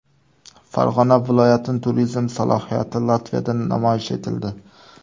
Farg‘ona viloyatining turizm salohiyati Latviyada namoyish etildi.